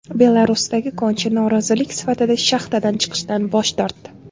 Belarusdagi konchi norozilik sifatida shaxtadan chiqishdan bosh tortdi.